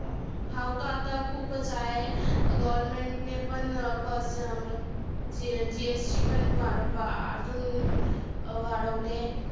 भाव तर आता खुपचं आहे. government ने पण प चं अं GST पण बारा अजून वाढवले.